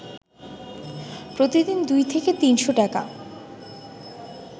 প্রতিদিন দুই থেকে তিনশ টাকা